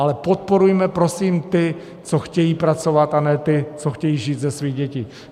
Ale podporujme, prosím, ty, co chtějí pracovat, a ne ty, co chtějí žít ze svých dětí.